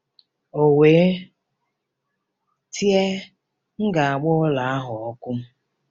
O wee tie, "M ga-agba ụlọ ahụ ọkụ!"